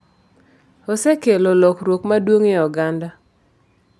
Osekelo lokruok maduong' e oganda.